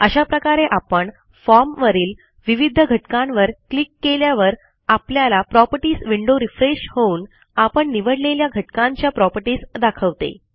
अशा प्रकारे आपण फॉर्म वरील विविध घटकांवर क्लिक केल्यावर आपल्याला प्रॉपर्टीज विंडो रिफ्रेश होऊन आपण निवडलेल्या घटकांच्या प्रॉपर्टीज दाखवते